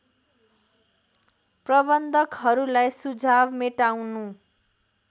प्रबन्धकहरूलाई सुझाव मेटाउनु